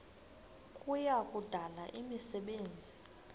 kuya kudala imisebenzi